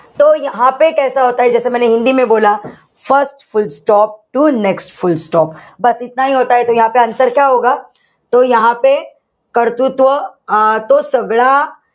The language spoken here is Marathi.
first full stop to next full stop answer कर्तृत्व तो सगळं,